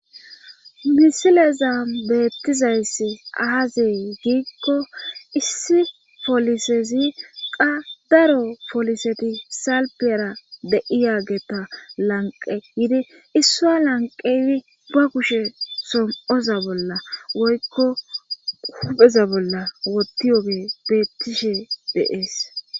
misileza beettizayssi aazee giikko issi folisezi qa daro foliseti salpiyara de'iyageta lanqe yidi issua lanqeydi ba kushe som7oza bolla woykko hupheza bolla wotti yoge beettishe deees